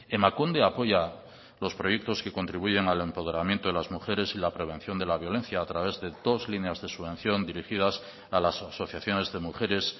emakunde apoya los proyectos que contribuyen al empoderamiento de las mujeres y la prevención de la violencia a través de dos líneas de subvención dirigidas a las asociaciones de mujeres